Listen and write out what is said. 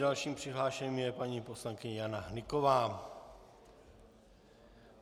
Další přihlášenou je paní poslankyně Jana Hnyková.